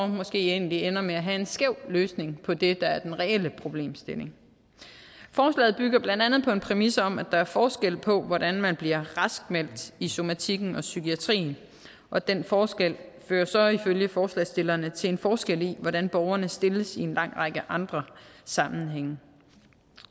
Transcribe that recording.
måske egentlig ender med at have en skæv løsning på det der er den reelle problemstilling forslaget bygger blandt andet på en præmis om at der er forskel på hvordan man bliver raskmeldt i somatikken og psykiatrien og den forskel fører så ifølge forslagsstillerne til en forskel i hvordan borgerne stilles i en lang række andre sammenhænge